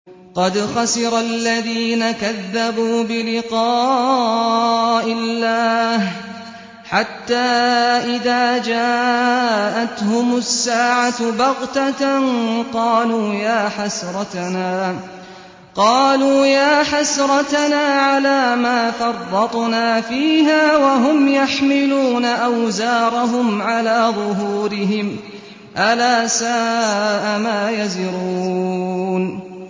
قَدْ خَسِرَ الَّذِينَ كَذَّبُوا بِلِقَاءِ اللَّهِ ۖ حَتَّىٰ إِذَا جَاءَتْهُمُ السَّاعَةُ بَغْتَةً قَالُوا يَا حَسْرَتَنَا عَلَىٰ مَا فَرَّطْنَا فِيهَا وَهُمْ يَحْمِلُونَ أَوْزَارَهُمْ عَلَىٰ ظُهُورِهِمْ ۚ أَلَا سَاءَ مَا يَزِرُونَ